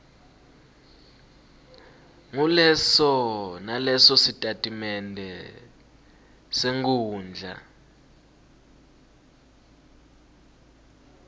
nguleso nalesositatimende senkhundla